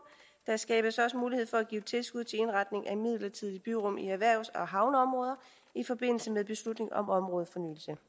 der skabes også mulighed for at give tilskud til indretning af midlertidige byrum i erhvervs og havneområder i forbindelse med beslutning om områdefornyelse